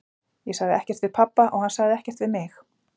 Ég sagði ekkert við pabba og hann sagði ekkert við mig.